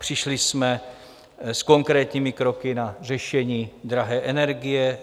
Přišli jsme s konkrétními kroky na řešení drahé energie.